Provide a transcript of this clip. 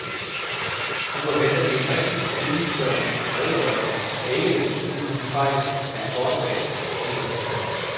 Nu forventer vi en rigtig og fyldestgørende redegørelse, der ikke lægger skjul på de fejl, der er foretaget, siger hun.